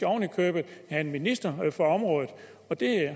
oven i købet have en minister for området og det